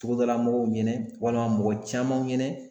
Togodalamɔgɔw ɲɛna walima mɔgɔ caman ɲɛna